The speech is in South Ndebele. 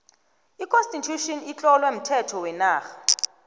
j constitution itlowe umthetho wenarha